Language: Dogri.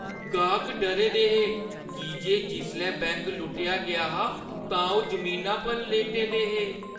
गाह्क डरे दे हे की जे जिसलै बैंक लुट्टेआ गेआ हा तां ओह् जमीना पर लेटे दे हे।